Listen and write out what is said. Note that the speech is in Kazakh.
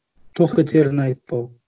тоқетерін айтпау